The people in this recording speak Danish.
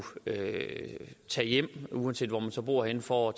tage hjem uanset hvor man så bor henne for at